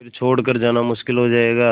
फिर छोड़ कर जाना मुश्किल हो जाएगा